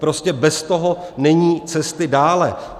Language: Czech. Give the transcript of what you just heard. Prostě bez toho není cesty dále.